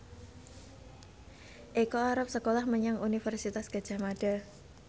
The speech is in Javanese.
Eko arep sekolah menyang Universitas Gadjah Mada